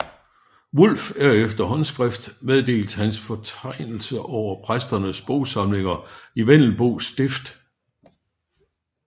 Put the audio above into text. Wulff efter et håndskrift meddelt hans fortegnelse over præsternes bogsamlinger i Vendelbo stift